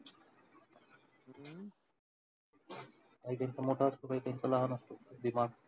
काहीकाहींचा मोठा असतो काहीकाहींचा लहान असतो दिमाग.